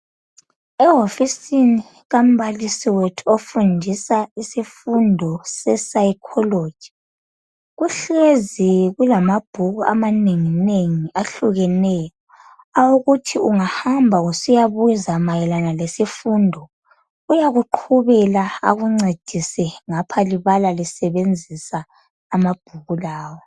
Ehofisini kambalisi wethu ofundisa isifundo se psychology kuhlezi kulamabhuku amanenginengi ahlukeneyo awokuthi ungahamba usiyabuza mayelana lesifundo uyakuhlubela akuncedise ngapha libala lisebenzisa amabhuku lawa.